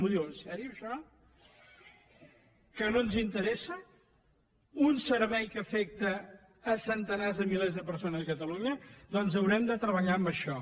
m’ho diu seriosament això que no ens interessa un servei que afecta centenars de milers de persones a catalunya doncs haurem de treballar en això